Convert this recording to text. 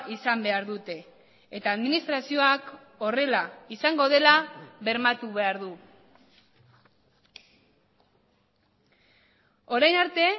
izan behar dute eta administrazioak horrela izango dela bermatu behar du orain arte